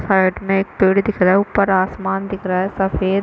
side में एक पेड़ दिख रहा है ऊपर आसमान दिख रहा है सफ़ेद--